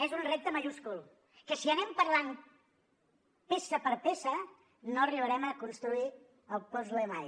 és un repte majúscul que si anem parlant peça per peça no arribarem a construir el puzle mai